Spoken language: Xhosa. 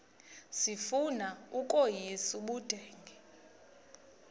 sifuna ukweyis ubudenge